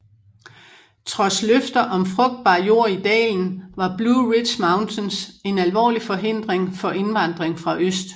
Trods løfter om frugtbar jord i dalen var Blue Ridge Mountains en alvorlig forhindring for indvandring fra øst